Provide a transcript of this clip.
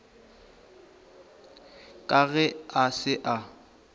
ka ge a se a